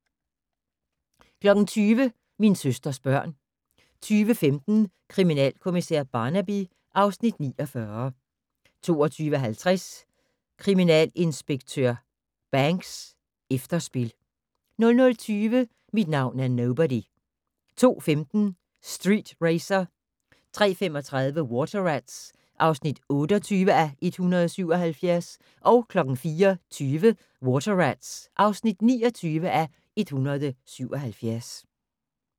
20:00: Min søsters børn 21:15: Kriminalkommissær Barnaby (Afs. 49) 22:50: Kriminalinspektør Banks: Efterspil 00:20: Mit navn er Nobody 02:15: Street Racer 03:35: Water Rats (28:177) 04:20: Water Rats (29:177)